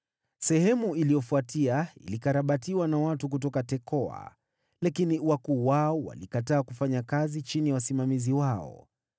Sehemu iliyofuatia ilikarabatiwa na watu kutoka Tekoa, lakini wakuu wao walikataa kufanya kazi chini ya wasimamizi wao.